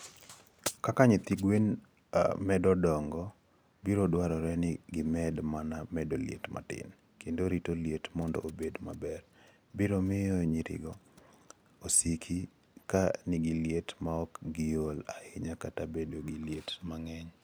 Kaka nyithi gwen medo dongo, biro dwarore ni gimed mana medo liet matin, kendo rito liet mondo obed maber, biro miyo nyirigo osiki ka nigi liet maok giol ahinya kata bedo gi liet mang'eny.